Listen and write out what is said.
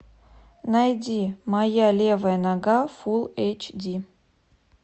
найди моя левая нога фул эйч ди